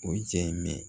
O jaa ye mɛ